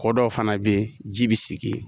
Kɔ dɔw fana bɛ yen ji bɛ sigi yen